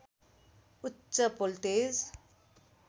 उच्च भोल्टेज